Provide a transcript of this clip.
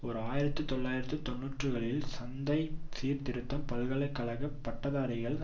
ஓர் ஆயிரத்தி தொள்ளாயிரத்து தொன்னூறுகளின் சந்தை சீர்திருத்தம் பல்கலை கழக பட்டதாரிகள்